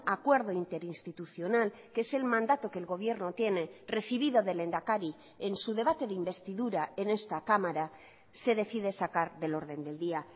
acuerdo interinstitucional que es el mandato que el gobierno tiene recibido del lehendakari en su debate de investidura en esta cámara se decide sacar del orden del día